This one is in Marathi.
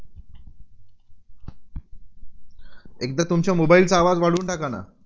एकदा तुमच्या mobile चा आवाज वाढवून टाकाना.